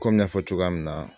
Komi n y'a fɔ cogoya min na